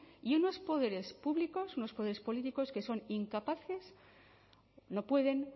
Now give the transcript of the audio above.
y unos poderes públicos unos poderes políticos que son incapaces no pueden